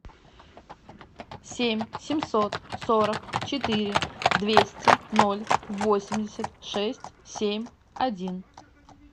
семь семьсот сорок четыре двести ноль восемьдесят шесть семь один